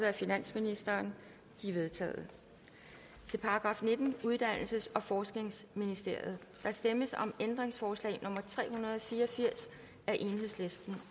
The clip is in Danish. af finansministeren de er vedtaget til § nittende uddannelses og forskningsministeriet der stemmes om ændringsforslag nummer tre hundrede og fire og firs af el